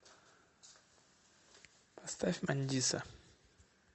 поставь мандиса